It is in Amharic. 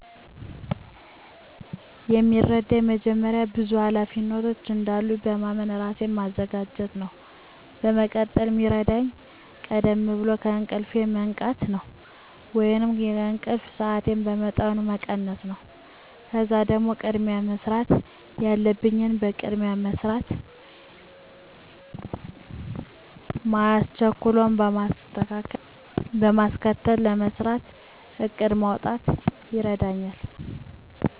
የሚረዳኝ መጀመሪያ ብዙ ሀላፊነቶች እንዳሉኝ በማመን ራሴን ማዘጋጀት ነው። በመቀጠል ሚረዳኝ ቀደም ብሎ ከእንቅልፌ መንቃት ነው ወይንም የእንቅልፍ ሰአቴን በመጠኑ መቀነስ ነው። ከዛም ደግሞ ቅድሚያ መሰራት ያለበትን በቅድሚያ ለመስራት ማያስቸኩለውን በማስከተል ለመስራት እቅድ ማውጣት ይረዳኛል።